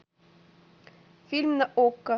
фильм на окко